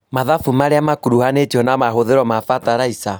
Mathabu maria makuruhanĩtio na mahũthĩro ma bataraitha